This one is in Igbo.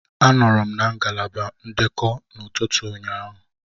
Anọọrọ m na ngalaba ndekọ n'ụtụtụ ụnyaahụ